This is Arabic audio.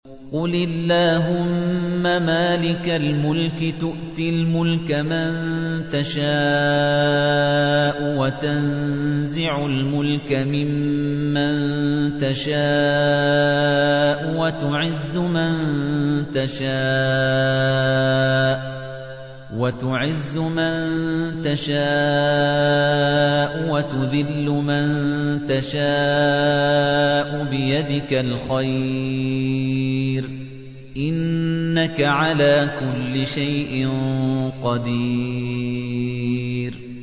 قُلِ اللَّهُمَّ مَالِكَ الْمُلْكِ تُؤْتِي الْمُلْكَ مَن تَشَاءُ وَتَنزِعُ الْمُلْكَ مِمَّن تَشَاءُ وَتُعِزُّ مَن تَشَاءُ وَتُذِلُّ مَن تَشَاءُ ۖ بِيَدِكَ الْخَيْرُ ۖ إِنَّكَ عَلَىٰ كُلِّ شَيْءٍ قَدِيرٌ